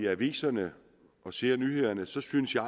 aviserne og ser nyhederne synes jeg